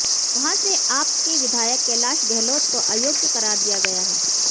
वहां से आप के विधायक कैलाश गहलोत को अयोग्य करार दिया गया है